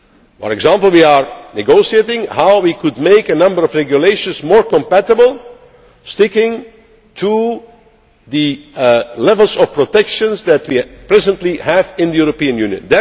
For example, we are negotiating how we could make a number of regulations more compatible by sticking to the levels of protection that we presently have in the European Union.